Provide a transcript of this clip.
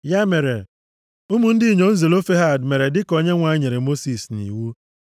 Ya mere, ụmụ ndị inyom Zelofehad mere dịka Onyenwe anyị nyere Mosis nʼiwu.